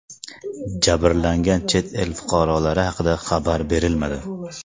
Jabrlangan chet el fuqarolari haqida xabar berilmadi.